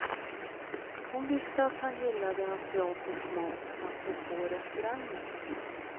Hon visste att han gillade asiatisk mat, apropå restauranger.